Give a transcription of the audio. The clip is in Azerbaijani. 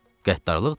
Qəddarlıqdır?